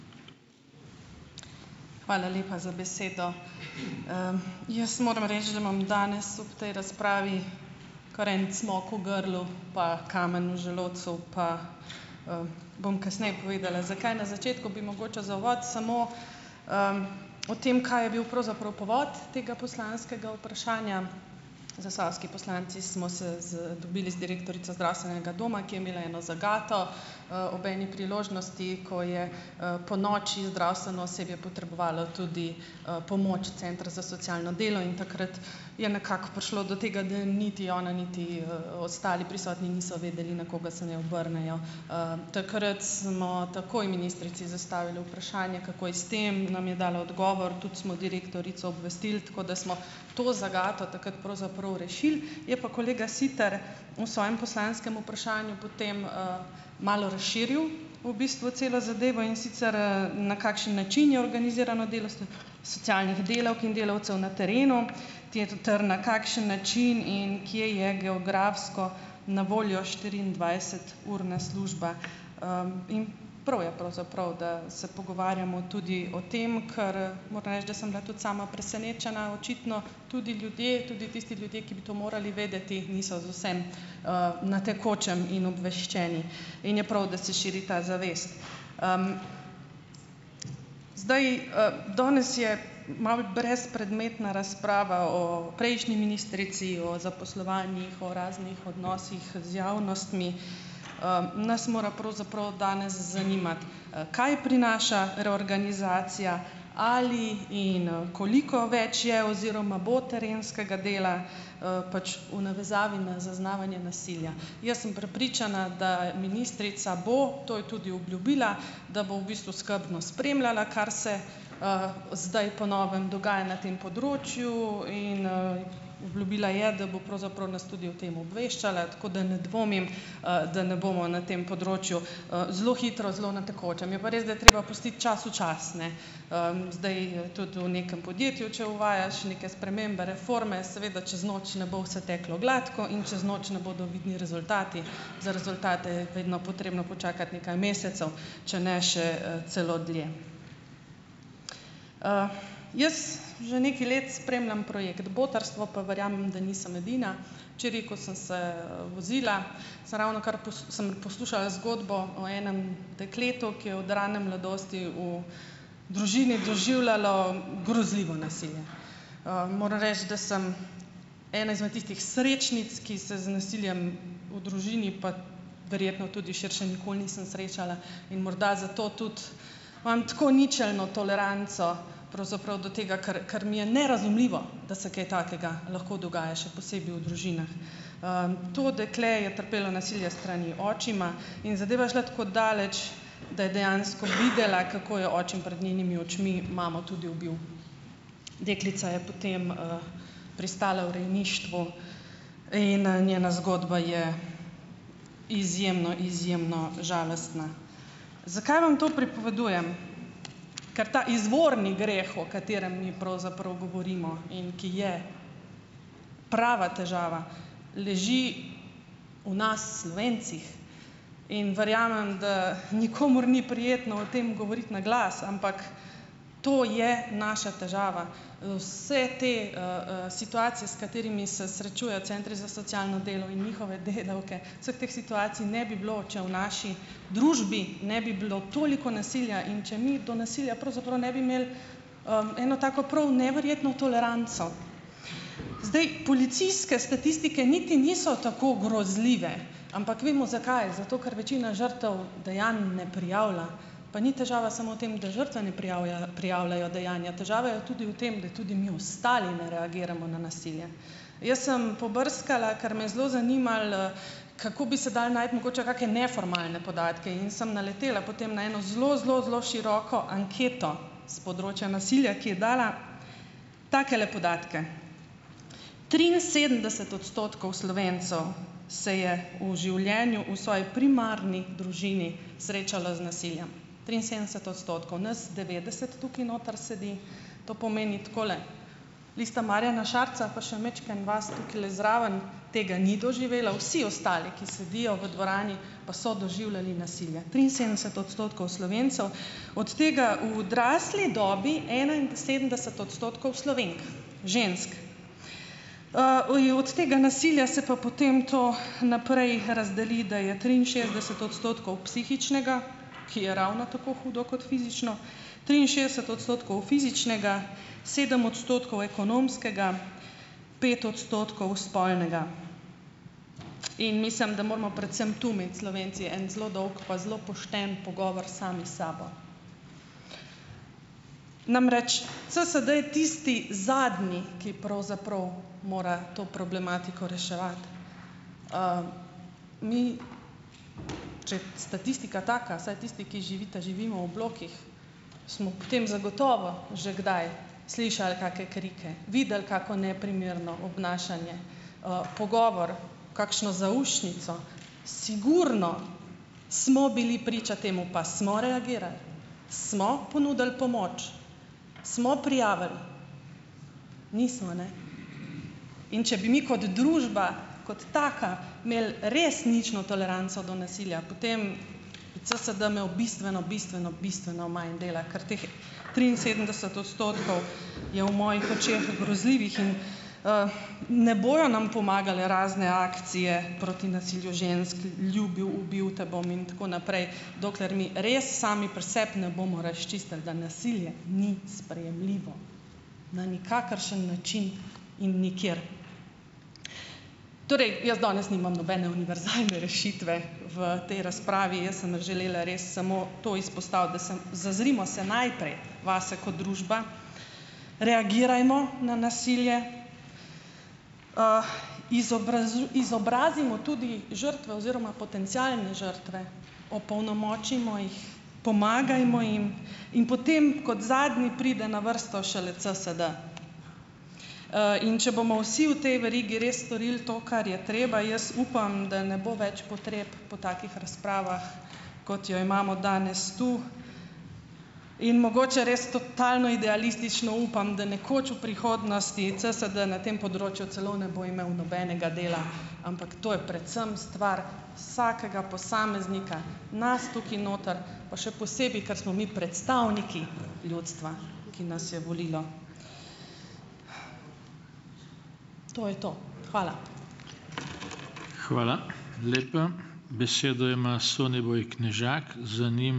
Hvala lepa za besedo. jaz moram reči, da imam danes ob tej razpravi kar en cmok v grlu pa kamen v želodcu pa, bom kasneje povedala zakaj . Na začetku bi mogoče za uvod samo, o tem, kaj je bil pravzaprav povod tega poslanskega vprašanja. Zasavski poslanci smo se z dobili z direktorico zdravstvenega doma, ki je imela eno zagato, ob eni priložnosti, ko je, ponoči zdravstveno osebje potrebovalo tudi, pomoč centra za socialno delo in takrat je nekako prišlo do tega, da niti ona niti, ostali prisotni niso vedeli, na koga se naj obrnejo. takrat smo takoj ministrici zastavili vprašanje, kako je s tem, nam je dala odgovor, tudi smo direktorico obvestili, tako da smo to zagato takrat pravzaprav rešili, je pa kolega Siter v svojem poslanskem vprašanju potem, malo razširil v bistvu celo zadevo, in sicer, na kakšen način je organizirano delo socialnih delavk in delavcev na terenu, na kakšen način in kje je geografsko na voljo štiriindvajseturna služba, in prav je pravzaprav, da se pogovarjamo tudi o tem, kar, moram reči, da sem bila tudi sama presenečena, očitno tudi ljudje, tudi tisti ljudje, ki bi morali vedeti, niso z vsem, na tekočem in obveščeni in je prav, da se širi ta zavest. zdaj, danes je malo brezpredmetna razprava o prejšnji ministrici, o zaposlovanjih, o raznih odnosih z javnostmi, nas mora pravzaprav danes zanimati, kaj prinaša reorganizacija, ali in, koliko več je oziroma bo terenskega dela, pač v navezavi na zaznavanje nasilja. Jaz sem prepričana, da ministrica bo, to je tudi obljubila, da bo v bistvu skrbno spremljala kar se, zdaj po novem dogaja na tem področju in, obljubila je, da bo pravzaprav nas tudi o tem obveščala, tako da ne dvomim, da ne bomo na tem področju, zelo hitro, zelo na tekočem, je pa res, da je treba pustiti času čas, ne. zdaj, tudi v nekem podjetju, če uvajaš neke spremembe, reforme, seveda čez noč ne bo vse teklo gladko in čez noč ne bodo vidni rezultati, za rezultate je vedno potrebno počakati nekaj mesecev, če ne še, celo dlje. Jaz že nekaj let spremljam projekt Botrstvo pa verjamem, da nisem edina. Včeraj, ko sem se, vozila, sem ravnokar sem poslušala zgodbo o enem dekletu, ki je od rane mladosti v družini doživljalo grozljivo nasilje . moram reči, da sem ena izmed tistih srečnic, ki se z nasiljem v družini, pa verjetno tudi širše, nikoli nisem srečala in morda zato tudi imam tako ničelno toleranco pravzaprav do tega, ker, ker mi je nerazumljivo, da se kaj takega lahko dogaja še posebej v družinah. to dekle je trpelo nasilje s strani očima in zadeva je šla tako daleč, da je dejansko videla , kako je očim prej njenimi očmi mamo tudi ubil. Deklica je potem, pristala v rejništvu in, njena zgodba je izjemno, izjemno žalostna. Zakaj vam to pripovedujem? Ker ta izvorni greh, o katerem mi pravzaprav govorimo in ki je prava težava, leži v nas Slovencih in verjamem, da nikomur ni prijetno o tem govoriti na glas, ampak to je naša težava. vse te, situacije, s katerimi se srečujejo centri za socialno delo in njihove delavke, vseh teh situacij ne bi bilo, če v naši družbi ne bi bilo toliko nasilja in če mi to nasilje pravzaprav ne bi imeli, eno tako prav neverjetno toleranco. Zdaj, policijske statistike niti niso tako grozljive. Ampak vemo, zakaj. Zato, ker večina žrtev dejanj ne prijavlja. Pa ni težava samo v tem, da žrtve ne prijavljajo dejanja, težava je tudi v tem, da tudi mi ostali ne reagiramo na nasilje. Jaz sem pobrskala, ker me zelo zanimalo, kako bi se dalo najti mogoče kake neformalne podatke in sem naletela potem na eno zelo, zelo, zelo široko anketo s področja nasilja, ki je dala takele podatke: triinsedemdeset odstotkov Slovencev se je v življenju, v svoji primarni družini srečalo z nasiljem. Triinsedemdeset odstotkov. Nas devetdeset tukaj noter sedi. To pomeni takole: lista Marjana Šarca pa še majčkeno vas tukajle zraven tega ni doživela, vsi ostali, ki sedijo v dvorani pa so doživljali nasilje. Triinsedemdeset odstotkov Slovencev, od tega v odrasli dobi enainsedemdeset odstotkov Slovenk. Žensk. od tega nasilja se pa potem to naprej razdeli, da je triinšestdeset odstotkov psihičnega, ki je ravno tako hudo kot fizično, triinšestdeset odstotkov fizičnega, sedem odstotkov ekonomskega, pet odstotkov spolnega. In mislim, da moramo predvsem tu imeti Slovenci en zelo dolg pa zelo pošten pogovor sami s sabo. Namreč, CSD je tisti zadnji, ki pravzaprav mora to problematiko reševati. mi, če statistika taka, saj tisti, ki živite, živimo v blokih smo potem zagotovo že kdaj slišali kake krike, videli kako neprimerno obnašanje, pogovor, kakšno zaušnico, sigurno smo bili priča temu, pa smo reagirali? Smo ponudili pomoč? Smo prijavili? Nismo, ne. In če bi mi kot družba, kot taka, imeli res nično toleranco do nasilja, potem CSD imel bistveno, bistveno, bistveno manj dela, ker teh triinsedemdeset odstotkov je v mojih očeh grozljivih in, ne bojo nam pomagale razne akcije proti nasilju žensk, Ljubil, ubil te bom in tako naprej. Dokler mi res sami pri sebi ne bomo razčistili, da nasilje ni sprejemljivo na nikakršen način in nikjer. Torej, jaz danes nimam nobene univerzalne rešitve v tej razpravi, jaz sem vam želela res samo to izpostaviti, da sem, zazrimo se najprej vase kot družba, reagirajmo na nasilje, izobrazimo tudi žrtve oziroma potencialne žrtve, opolnomočimo jih, pomagajmo jim in potem kot zadnji pride na vrsto šele CSD. in če bomo vsi v tej verigi res storili to, kar je treba, jaz upam, da ne bo več potreb po takih razpravah, kot jo imamo danes tu, in mogoče res totalno idealistično upam, da nekoč v prihodnosti CSD na tem področju celo ne bo imel nobenega dela , ampak to je predvsem stvar vsakega posameznika, nas tukaj noter pa še posebej, ker smo mi predstavniki ljudstva, ki nas je volilo. To je to. Hvala. Hvala lepa. Besedo ima Soniboj Knežak, za ...